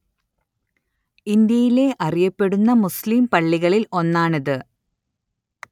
ഇന്ത്യയിലെ അറിയപ്പെടുന്ന മുസ്ലിം പള്ളികളില്‍ ഒന്നാണിത്